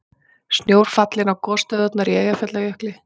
Snjór fallinn á gosstöðvarnar í Eyjafjallajökli